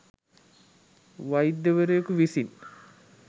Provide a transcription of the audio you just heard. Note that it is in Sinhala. වෛද්‍යවරයෙකු විසින්